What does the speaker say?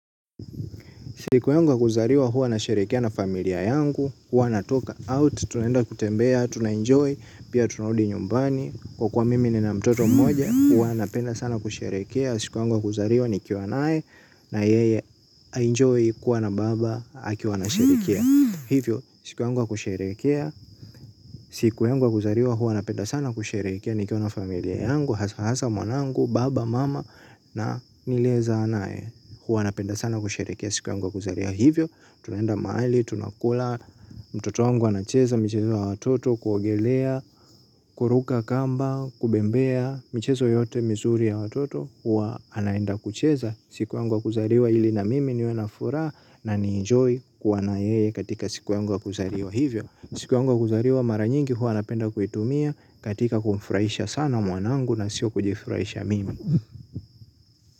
Siku yangu wa kuzaliwa, huwa nasherehekea na familia yangu, huwa natoka out, tunaenda kutembea, tunaenjoy, pia tunarudi nyumbani, kwa kuwa mimi nina mtoto mmoja, huwa napenda sana kusherehekea siku yangu wa kuzarlwa nikiwa nae, na yeye aenjoy kuwa na baba akiwa anasherehekea. Hivyo, siku yangu ya kusherehekea, siku yangu wa kuzaliwa huwa napenda sana kusherehekea nikiwa na familia yangu, hasa hasa mwanangu, baba, mama na niliezaa naye, huwa napenda sana kusherehekea siku yangu wa kuzaliwa, hivyo tunaenda mahali, tunakula, mtoto wangu anacheza michezo ya watoto kuogelea, kuruka kamba, kubembea, michezo yoyote mizuri ya watoto huwa anenda kucheza siku yangu ya kuzaliwa, ili na mimi niwe na furaha na nienjoy kuwa na yeye katika siku yangu ya kuzaliwa. Hivyo, siku yangu ya kuzaliwa mara nyingi huwa napenda kuitumia katika kumfurahisha sana mwanangu na sio kujifurahisha mimi.